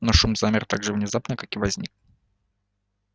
но шум замер так же внезапно как и возник